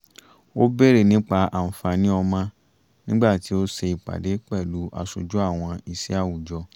ó bèrè nípa àǹfààní ọmọ nígbà tí ó ṣe ìpàdé pẹ̀lú aṣojú àwọn iṣẹ́ àwùjọ